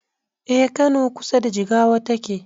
Eh kano a kusa da jigawa take